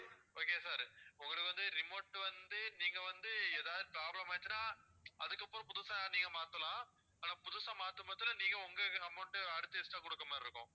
okay வா sir உங்களுக்கு வந்து remote வந்து நீங்க வந்து எதாவது problem ஆயிடுச்சுனா அதுக்கப்பறம் புதுசா நீங்க மாத்தலாம் ஆனா புதுசா மாத்தும் பட்சத்துல நீங்க உங்க amount அடுத்து extra கொடுக்கிற மாதிரி இருக்கும்